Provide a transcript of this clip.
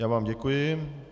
Já vám děkuji.